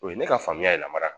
O ye ne ka faamuya yɛrɛ mara